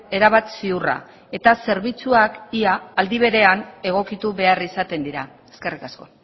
erabat ziurra eta zerbitzuak ia aldi berean egokitu behar izaten dira eskerrik asko